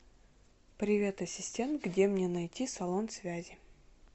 привет ассистент где мне найти салон связи